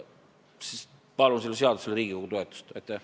Palun sellele seadusele Riigikogu toetust!